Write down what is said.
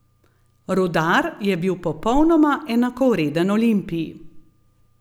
Rudar je bil popolnoma enakovreden Olimpiji.